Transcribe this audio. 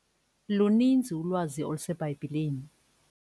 Luninzi ulwazi oluseBhayibhileni.